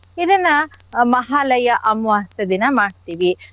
ಇದನ್ನ ಮಹಾಲಯ ಅಮಾವಾಸ್ಯೆ ದಿನ ಮಾಡ್ತೀವಿ.